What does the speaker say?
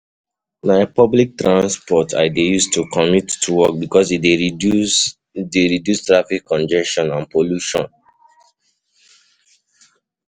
Na public transportation I dey use to commute to work because e dey reduce dey reduce traffic congestion and pollution.